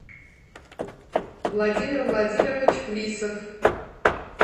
владимир владимирович плисов